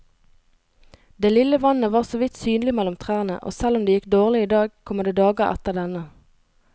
Det lille vannet var såvidt synlig mellom trærne, og selv om det gikk dårlig i dag, kommer det dager etter denne.